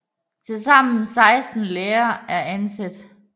Til sammen 16 lærere er ansat